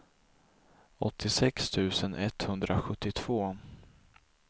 åttiosex tusen etthundrasjuttiotvå